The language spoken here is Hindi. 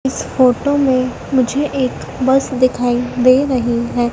इस फोटो में मुझे एक बस दिखाई दे रही है।